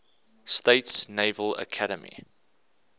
states naval academy